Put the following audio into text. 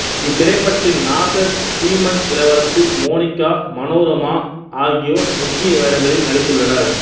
இத்திரைப்படத்தில் நாசர் ஸ்ரீமன் இளவரசு மோனிக்கா மனோரமா ஆகியோர் முக்கிய வேடங்களில் நடித்துள்ளனர்